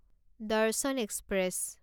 দৰ্শন এক্সপ্ৰেছ